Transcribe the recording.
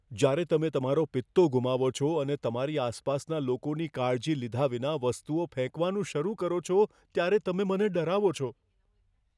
જ્યારે તમે તમારો પિત્તો ગુમાવો છો અને તમારી આસપાસના લોકોની કાળજી લીધા વિના વસ્તુઓ ફેંકવાનું શરૂ કરો છો ત્યારે તમે મને ડરાવો છો.